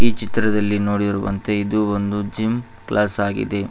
ಈ ಚಿತ್ರದಲ್ಲಿ ನೋಡಿರುವಂತೆ ಇದು ಒಂದು ಜಿಮ್ ಕ್ಲಾಸ್ ಆಗಿದೆ.